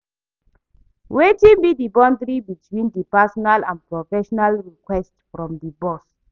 Wetin be di boundary between di personal and professional requests from di boss?